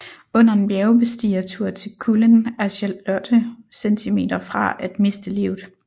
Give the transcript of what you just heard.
Under en bjergbestigertur til Kullen er Charlotte centimeter fra at miste livet